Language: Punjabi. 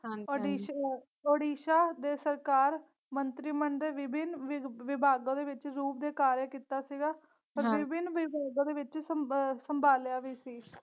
ਹਾਂ ਓੜੀ ਓੜੀਸਾ ਦੇ ਸਰਕਾਰ ਮੰਤਰੀ ਮੰਡਲ ਵਿਭਿਨ ਵਿਭ ਵਿਭਾਗਾ ਦੇ ਵਿਚ ਰੂਪ ਦੇ ਕਾਰਿਆ ਕੀਤਾ ਸੀਗਾ ਤੇ ਵਿਭਿਨ ਵਿਭਾਗੋ ਦੇ ਵਿਚ ਸੰਭ ਸੰਭਾਲਿਆ ਵੀ ਸੀ ।